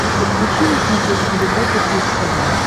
подключи на смотрешке европа плюс тв